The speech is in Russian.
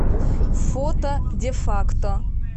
фото дефакто